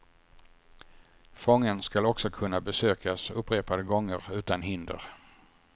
Fången skall också kunna besökas upprepade gånger utan hinder.